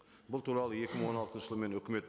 бұл туралы екі мың он алтыншы жылы мен өкімет